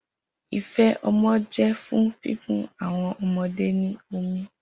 Ife ọmọ jẹ fun fifun awọn ọmọde ni omi